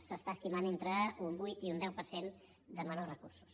s’estima entre un vuit i un deu per de cent de menors recursos